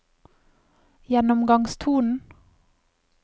gjennomgangstonen